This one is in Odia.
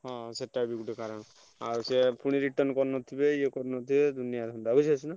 ହଁ ସେଟା ବି ଗୋଟେ କାରଣ। ଆଉ ସେ ପୁଣି return କରିନଥିବେ ଇଏ କରିନଥିବେ ଦୁନିଆ ଧନ୍ଦା ବୁଝି ପାରୁଚୁନା।